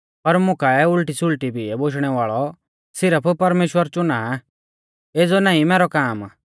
पर मुकाऐ उल़टी सुल़टी बियै बोशणै वाल़ौ सिरफ परमेश्‍वर चुना आ एज़ौ नाईं मैरौ काम